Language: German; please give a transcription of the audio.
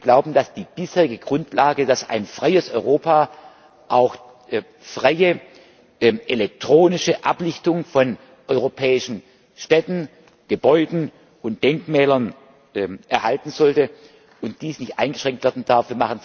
Wir glauben, dass die bisherige Grundlage, dass ein freies Europa auch freie elektronische Ablichtung von europäischen Städten, Gebäuden und Denkmälern erhalten sollte, nicht eingeschränkt werden darf.